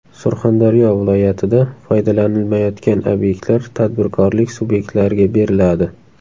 Surxondaryo viloyatida foydalanilmayotgan obyektlar tadbirkorlik subyektlariga beriladi.